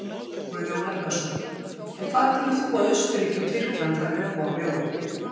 Guðjón Helgason: En hvað telur þú að Austurríki og Tyrkland hafi uppá að bjóða?